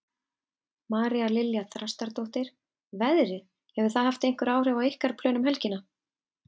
María Lilja Þrastardóttir: Veðrið, hefur það haft einhver áhrif á ykkar plön um helgina?